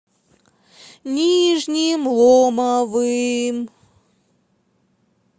нижним ломовым